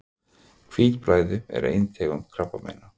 Hvítblæði er ein tegund krabbameina.